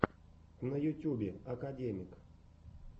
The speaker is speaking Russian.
на ютюбе академик